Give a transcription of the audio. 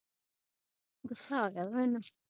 ਗੁਸਾ ਆ ਗਿਆ ਸੀ ਮੈਨੂੰ